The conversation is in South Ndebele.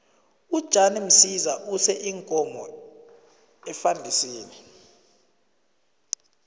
ujan msiza use iinkomo efandisini